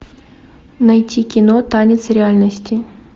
найти кино танец реальности